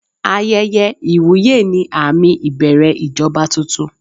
Ayẹyẹ ìwúyè ni àmì ìbẹ̀rẹ̀ ìjọba tuntun.